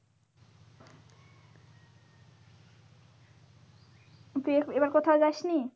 তুই এখ এবার এবার কোথাও যাস নি?